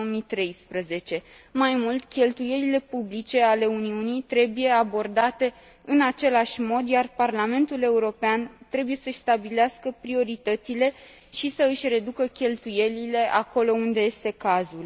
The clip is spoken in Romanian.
2013. Mai mult, cheltuielile publice ale Uniunii trebuie abordate în același mod, iar Parlamentul European trebuie să și stabilească prioritățile și să își reducă cheltuielile acolo unde este cazul.